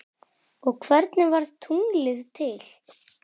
og Hvernig varð tunglið til?